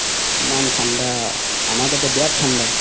ইমান থান্দা আমাৰ তাতে বিৰাত থান্দা